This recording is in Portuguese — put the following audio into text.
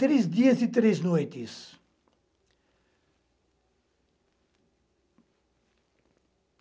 Três dias e três noites.